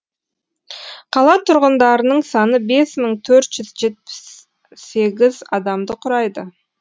қала тұрғындарының саны бес мың төрт жүз жетпіс сегіз адамды құрайды